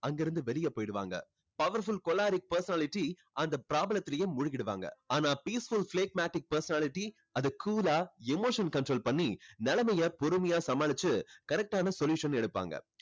அங்க இருந்து வெளியே போயிடுவாங்க. powerful choleric personality அந்த problem த்துலேயே மூழ்கிடுவாங்க. ஆனா peaceful phlegmatic personality அதை cool ஆ emotion control பண்ணி நிலைமையை பொறுமையா சமாளிச்சு correct ஆன solution எடுப்பாங்க.